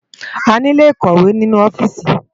Àniló ikòwé ninú òfìsí